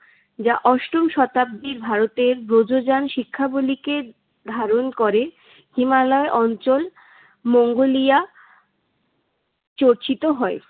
যা অষ্টম শতাব্দীর ভারতের ব্রজযান শিক্ষাবলীকে ধারণ করে। হিমালয় অঞ্চল, মঙ্গোলিয়া চর্চিত হয়।